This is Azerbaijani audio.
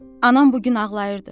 Anam bu gün ağlayırdı.